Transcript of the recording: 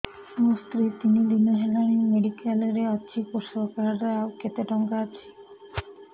ମୋ ସ୍ତ୍ରୀ ତିନି ଦିନ ହେଲାଣି ମେଡିକାଲ ରେ ଅଛି କୃଷକ କାର୍ଡ ରେ ଆଉ କେତେ ଟଙ୍କା ଅଛି